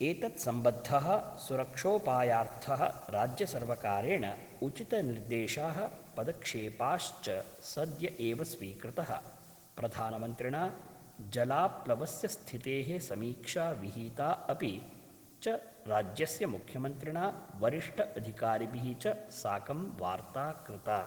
एतत्सम्बद्धः सुरक्षोपायार्थ: राज्यसर्वकारेण उचितनिर्देशा: पदक्षेपाश्च सद्य एव स्वीकृत: प्रधानमन्त्रिणा जलाप्लवस्य स्थिते: समीक्षा विहिता अपि च राज्यस्य मुख्यमन्त्रिणा वरिष्ठअधिकारिभिः च साकं वार्ता कृता।